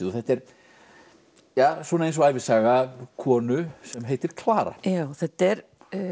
þetta er svona eins og ævisaga konu sem heitir Klara já þetta er